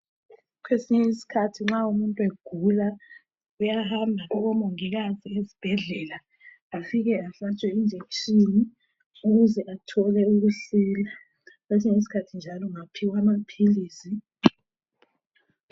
Kwesinye isikhathi nxa umuntu egula uyahamba kubomongikazi esibhedlela afike ehlatshwe injekishini ukuze athole ukisila. Kwesinye isikhathi njalo ungaphiwa amaphilisi.